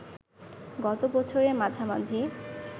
গত বছরের মাঝামাঝি